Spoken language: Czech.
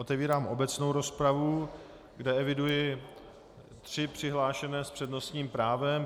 Otevírám obecnou rozpravu, kde eviduji tři přihlášené s přednostním právem.